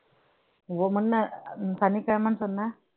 உங்க முன்ன ஆஹ் சனிக்கிழமைன்னு சொன்ன